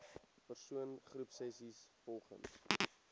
persoon groepsessies volgens